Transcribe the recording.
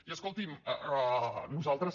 i escolti’m nosaltres